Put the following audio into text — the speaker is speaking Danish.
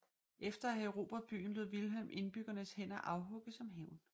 Efter at have erobret byen lod Vilhelm indbyggernes hænder afhugge som hævn